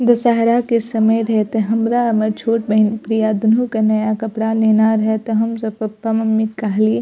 दसहरा के समय रेहते हमरा मअ छोट बहिन प्रिया दून्हो के नया कपडा लेना रहे त हमसब पप्पा-मम्मी क कहलिये।